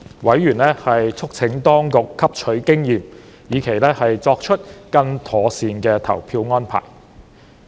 委員促請當局汲取經驗，以期作出更妥善的投票安排。